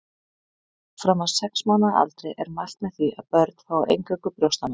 Fram að sex mánaða aldri er mælt með því að börn fái eingöngu brjóstamjólk.